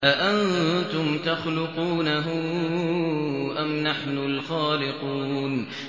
أَأَنتُمْ تَخْلُقُونَهُ أَمْ نَحْنُ الْخَالِقُونَ